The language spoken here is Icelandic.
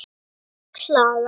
Birna Klara.